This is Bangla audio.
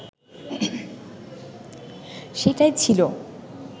সেটিই ছিল